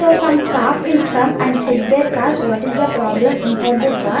so some staff will come and check their cars what is the problem inside the car.